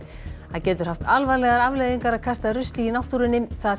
það getur haft alvarlegar afleiðingar að kasta rusli í náttúrunni það